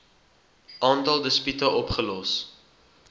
aantal dispute opgelos